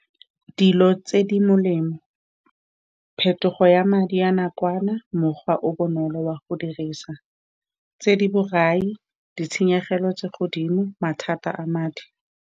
Dilo tse di molemo, phetogo ya madi a nakwana, mokgwa o o bonolo wa go dirisa, tse di borai, ditshenyegelo tse di ko godimo, mathata a madi.